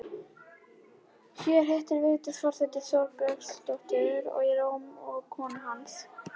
Hér hittir Vigdís forseti borgarstjórann í Róm og konu hans